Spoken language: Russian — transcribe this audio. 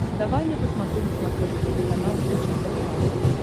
давай я посмотрю на смотрешке телеканал бридж тв классик